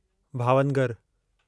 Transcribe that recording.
भावनगरु